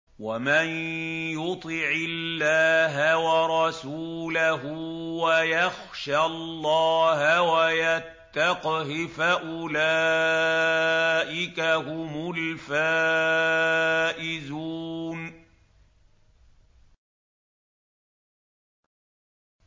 وَمَن يُطِعِ اللَّهَ وَرَسُولَهُ وَيَخْشَ اللَّهَ وَيَتَّقْهِ فَأُولَٰئِكَ هُمُ الْفَائِزُونَ